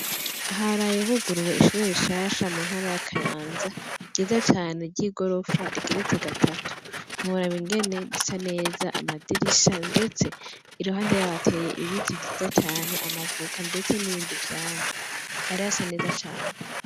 Haraye huguruwe ishure rishasha mu ntara ya Kayanza ryiza cane ry' igorofa rigeretse gatatu ntiworaba ingene risa neza amadirisha ndetse iruhande yaho hateye ibiti vyiza cane amavoka ndetse n' ibindi vyamwa hari hasa neza cane.